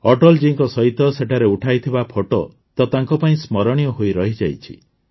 ଅଟଳ ଜୀଙ୍କ ସହିତ ସେଠାରେ ଉଠାଇଥିବା ଫଟୋ ତ ତାଙ୍କ ପାଇଁ ସ୍ମରଣୀୟ ହୋଇ ରହିଯାଇଛି